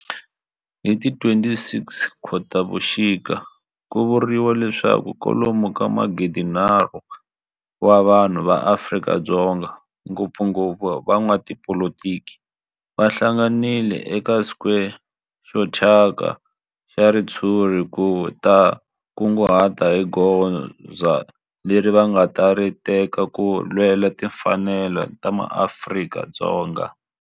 Hi ti 26 Khotavuxika ku vuriwa leswaku kwalomu ka magidi-nharhu wa vanhu va Afrika-Dzonga, ngopfungopfu van'watipolitiki va hlanganile eka square xo thyaka xa ritshuri ku ta kunguhata hi goza leri va nga ta ri teka ku lwela timfanelo ta maAfrika-Dzonga.